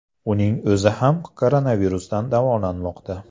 Uning o‘zi ham koronavirusdan davolanmoqda .